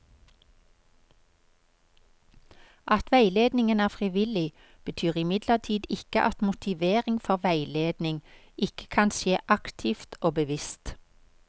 At veiledningen er frivillig, betyr imidlertid ikke at motivering for veiledning ikke kan skje aktivt og bevisst.